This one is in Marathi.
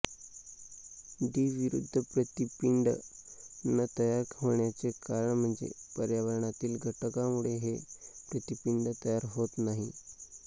डी विरुद्ध प्रतिपिंड न तयार होण्याचे कारण म्हणजे पर्यावरणातील घटकामुळे हे प्रतिपिंड तयार होत नाही